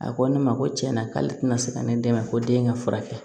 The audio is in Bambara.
A ko ne ma ko tiɲɛna k'ale tɛna se ka ne dɛmɛ ko den ka furakɛ